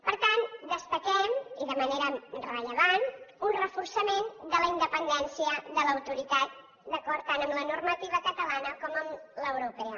per tant destaquem i de manera rellevant un reforçament de la independència de l’autoritat d’acord tant amb la normativa catalana com amb l’europea